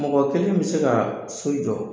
Mɔgɔ kelen bɛ se ka so jɔ